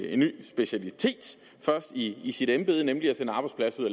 en ny specialitet først i i sit embede nemlig at sende arbejdspladser